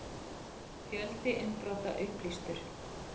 Fjöldi innbrota upplýstur